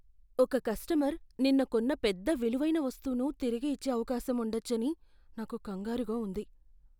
ఒక కస్టమర్ నిన్న కొన్న పెద్ద విలువైన వస్తువును తిరిగి ఇచ్చే అవకాశం ఉండచ్చని నాకు కంగారుగా ఉంది.